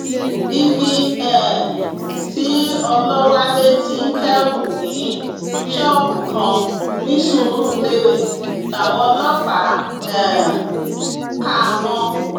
ibi um tí ọlọwálé ti ń kẹrù ní ṣọọbù kan ní surulere làwọn ọlọpàá um kà á mọ